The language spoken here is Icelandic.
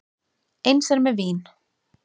Eins er með vín.